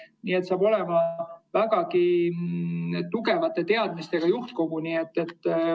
Nii et see saab olema vägagi tugevate teadmistega juhtkogu.